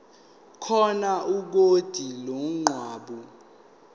khona ikhodi lomgwaqo